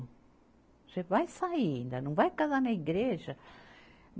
Você vai sair, ainda não vai casar na igreja.